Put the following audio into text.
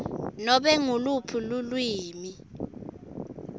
nobe nguluphi lulwimi